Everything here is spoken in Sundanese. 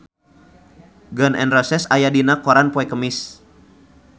Gun N Roses aya dina koran poe Kemis